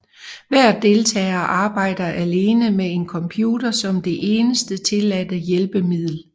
Hver deltager arbejder alene med en computer som det eneste tilladte hjælpemiddel